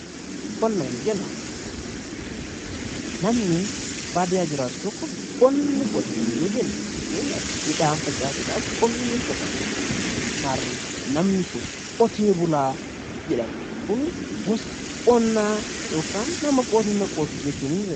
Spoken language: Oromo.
Qonna yoo jennu namni baadiyaa jiraatu tokko qonna ni qota yoo jenne fakkeenyaaf midhaan facaasuudhaaf qonni ni qotama. Maarree namni kun qotee bulaa jedhama. Kun gosa qonnaa yookaan nama qonna qotu jechuu ni dandeenya.